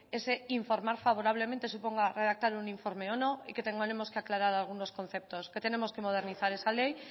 ese informar favorablemente suponga redactar un informe o no y que tengamos que aclarar algunos conceptos que tenemos que modernizar esa ley